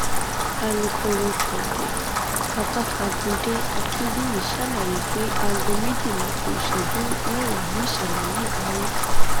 alūkkóró tôte babatagùnde akinbíyì ṣàlàyé pé aago méjìlá kù ìṣẹjú mẹwàá nìṣẹlẹ yìí wáyé